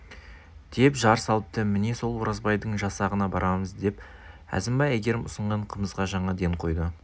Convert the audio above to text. деп жар салыпты міне сол оразбайдың жасағына барамыз деп әзімбай әйгерім ұсынған қымызға жаңа ден қойды